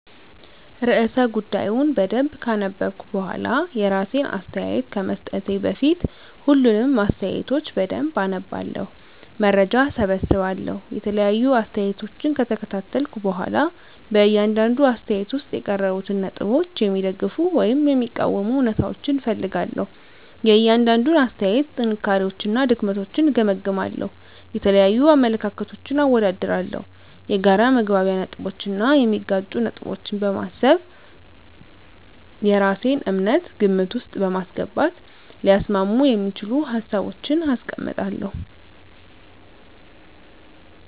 *ርዕሰ ጉዳዩን በደንብ ካነበብኩ በኋላ፤ *የራሴን አስተያየት ከመስጠቴ በፊት፦ ፣ሁሉንም አስተያየቶች በደንብ አነባለሁ፣ መረጃ እሰበስባለሁ የተለያዩ አስተያየቶችን ከተከታተልኩ በኋላ በእያንዳንዱ አስተያየት ውስጥ የቀረቡትን ነጥቦች የሚደግፉ ወይም የሚቃወሙ እውነታዎችን እፈልጋለሁ፤ * የእያንዳንዱን አስተያየት ጥንካሬዎችና ድክመቶችን እገመግማለሁ። * የተለያዩ አመለካከቶችን አወዳድራለሁ። የጋራ መግባቢያ ነጥቦችን እና የሚጋጩ ነገሮችን በማሰብ የራሴን እምነት ግምት ውስጥ በማስገባት ሊያስማሙ የሚችሉ ሀሳቦችን አስቀምጣለሁ።